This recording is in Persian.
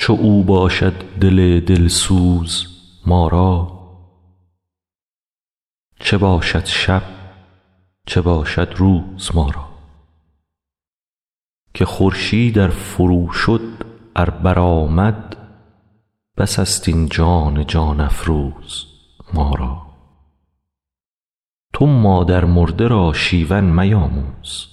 چو او باشد دل دل سوز ما را چه باشد شب چه باشد روز ما را که خورشید ار فروشد ار برآمد بس است این جان جان افروز ما را تو مادرمرده را شیون میآموز